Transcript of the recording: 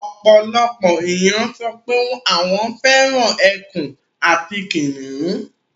Ọ̀pọ̀lọpọ̀ ènìyàn sọ pé àwọn fẹ́ràn ekùn àti kìnnìún